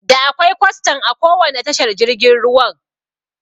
Da akwai kwastan a kowanne tashar jirgin ruwan